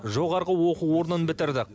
жоғарғы оқу орнын бітірдік